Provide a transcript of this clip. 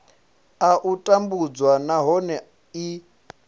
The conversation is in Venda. a u tambudzwa nahone i